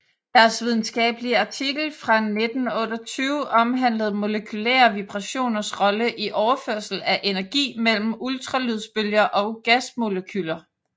Deres videnskabelige artikel fra 1928 omhandlede molekylære vibrationers rolle i overførsel af energi mellem ultralydsbølger og gasmolekyler